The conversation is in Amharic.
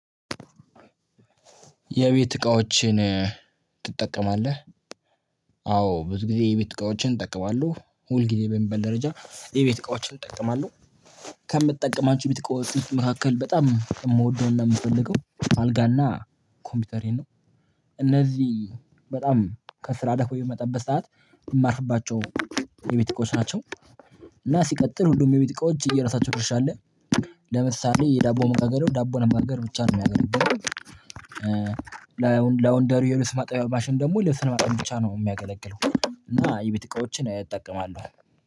የቤት እቃዎችን ትጠቀማለህ አዎ ብዙ ጊዜ የቤት እቃዎችን እጠቀማለሁ ሁል ጊዜ በሚበል ደረጃ የቤት እቃዎችን እጠቀማለሁ ከምትጠቀማችሁ ቤት እቃዎች መካከል በጣም የምወደውን ነው የምፈልገው አልጋና ኮምፒተሬን እነዚህ በጣም ከስራ ደክሞኝ በምመጣበት በሰአት የማርፍባቸው የቤት እቃዎች ናቸው። እና ሲቀጥል ሁሉም የቤት እቃዎች የየራሳቸው ድርሻ አለ ለምሳሌ የዳቦ መጋገሪው ዳቦ ለመጋገር ብቻ ነው የሚያገለግለው። ላወንደሪ የልብስ ማጣቢያ ማሽን ደግሞ ልብስ ለማጠብ ብቻ ነው የሚያገለግለው እና የቤት እቃዎችን እጠቀማለው።